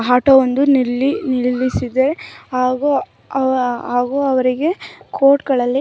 auto ಒಂದು ನಿಲ್ಲಿಸಿದೆ ಹಾಗೂ ಅವರಿಗೆ ಕೋರ್ಟ್‌ಗಳಲ್ಲಿ--